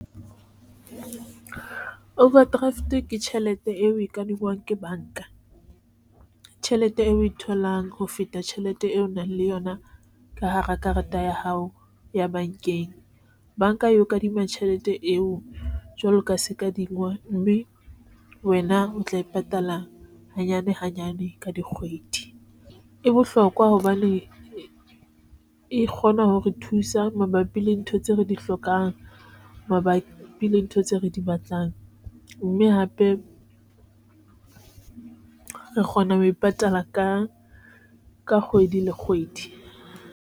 Overdraft ke tjhelete eo o e kadingwang ke banka tjhelete eo oe tholang ho feta tjhelete eo o nang le yona ka hara karata ya hao ya banka eo kadima tjhelete eo jwaloka se ka di ngwa mme wena o tla e patala hanyane hanyane ka dikgwedi e bohlokwa hobane e kgona ho re thusa mabapi le ntho tseo re di hlokang mabapi le ntho tseo re di batlang, mme hape re kgona ho e patala ka ka kgwedi le kgwedi.